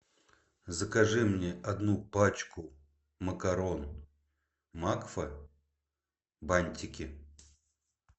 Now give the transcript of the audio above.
закажи мне одну пачку макарон макфа бантики